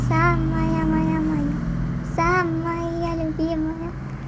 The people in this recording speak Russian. самая моя моя самая любимая